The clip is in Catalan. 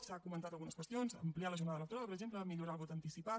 s’han comentat algunes qüestions ampliar la jornada electoral per exemple millorar el vot anticipat